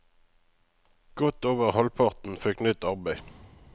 Godt over halvparten fikk nytt arbeid.